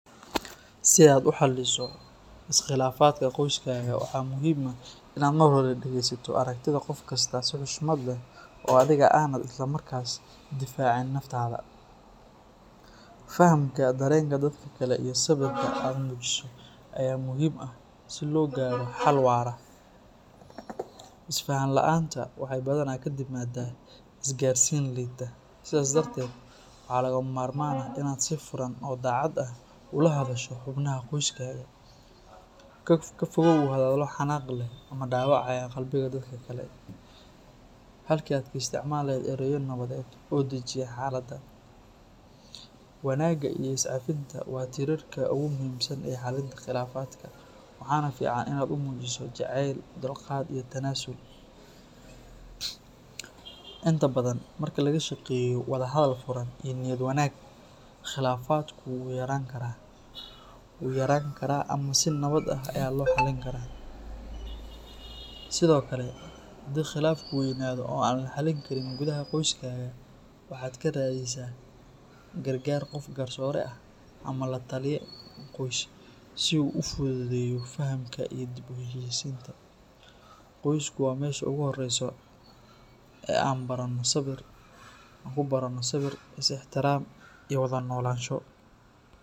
Si aad u xalliso iskhilaafaadka qoyskaaga, waxaa muhiim ah inaad marka hore dhegeysato aragtida qof kasta si xushmad leh oo adiga aanad isla markaas difaacin naftaada. Fahamka dareenka dadka kale iyo sabirka aad muujiso ayaa muhiim ah si loo gaaro xal waara. Isfahan la’aanta waxay badanaa ka timaadaa isgaarsiin liidata, sidaas darteed waa lagama maarmaan inaad si furan oo daacad ah ula hadasho xubnaha qoyskaaga. Ka fogow hadallo xanaaq leh ama dhaawacaya qalbiga dadka kale, halkii aad ka isticmaali lahayd ereyo nabadeed oo dejiya xaaladda. Wanaagga iyo is cafinta waa tiirarka ugu muhiimsan ee xallinta khilaafaadka, waxaana fiican inaad u muujiso jaceyl, dulqaad iyo tanaasul. Inta badan, marka laga shaqeeyo wada hadal furan iyo niyad wanaag, khilaafaadku wuu yaraan karaa ama si nabad ah ayaa loo xallin karaa. Sidoo kale, haddii khilaafku weynaado oo aan la xallin karin gudaha qoyskaga, waxaad ka raadisaa gargaar qof garsoore ah ama la-taliye qoys si uu u fududeeyo fahamka iyo dib u heshiisiinta. Qoysku waa meesha ugu horreysa ee aan ku baranno sabir, is ixtiraam, iyo wada noolaansho.